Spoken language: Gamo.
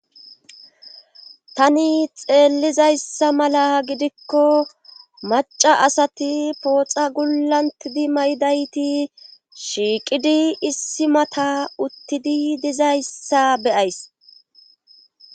Tani xeellizayssa mala gidikko macca asati pooxa gullanttidi mayidaytis shiiqidi issi mata uttidi dizayssa be7ays.